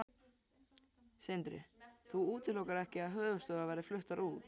Sindri: Þú útilokar ekki að höfuðstöðvar verði fluttar út?